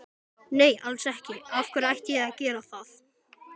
Nei alls ekki, af hverju ætti ég að gera það?